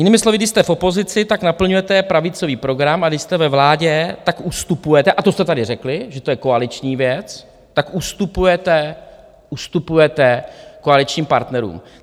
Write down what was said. Jinými slovy, když jste v opozici, tak naplňujete pravicový program, a když jste ve vládě, tak ustupujete, a to jste tady řekli, že to je koaliční věc, tak ustupujete koaličním partnerům.